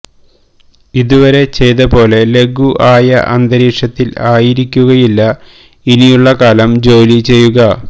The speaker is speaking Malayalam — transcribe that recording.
ഇത് വരെ ചെയ്ത പോലെ ലഘു ആയ അന്തരീക്ഷ്കത്തിൽ ആയിരിക്കുകയില്ല ഇനി ഉള്ള കാലം ജോലി ചെയ്യുക